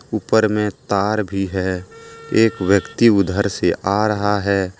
ऊपर में तार भी है एक व्यक्ति उधर से आ रहा है।